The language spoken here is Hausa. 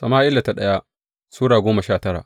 daya Sama’ila Sura goma sha tara